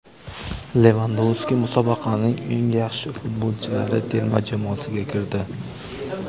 Levandovski musobaqaning eng yaxshi futbolchilari terma jamoasiga kirdi.